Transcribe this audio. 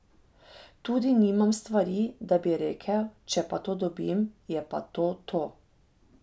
Tudi nimam stvari, da bi rekel, če pa to dobim, je pa to to.